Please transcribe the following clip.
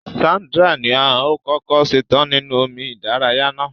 Sandra ni o kọkọ ṣetan ninu omi ìdárayá náà.